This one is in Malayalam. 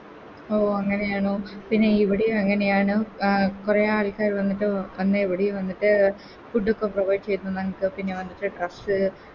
ഓ അങ്ങനെയാണോ പിന്നെ ഇവിടെയും അങ്ങനെയാണ് അഹ് കൊറേ ആൾക്കാര് വന്നിട്ട് വന്നെ എവിടേം വന്നിട്ട് ഉടുപ്പൊക്കെ വാങ്ങിച്ചെന്നു ഞങ്ങക്ക് പിന്നെ ഞങ്ങക്കൊക്കെ Dress